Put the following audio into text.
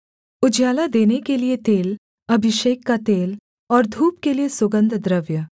उजियाला देने के लिये तेल अभिषेक का तेल और धूप के लिये सुगन्धद्रव्य